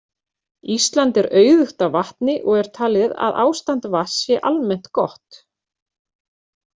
Ísland er auðugt af vatni og er talið að ástand vatns sé almennt gott.